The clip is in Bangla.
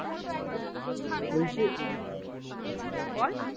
ঐখানে হম বল